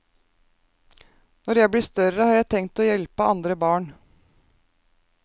Når jeg blir større, har jeg tenkt å hjelpe andre barn.